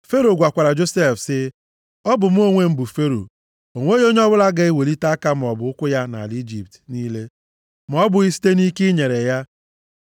Fero gwakwara Josef sị, “Ọ bụ mụ onwe m bụ Fero! O nweghị onye ọbụla ga-ewelita aka maọbụ ụkwụ ya nʼala Ijipt niile ma ọ bụghị site nʼike i nyere ya.”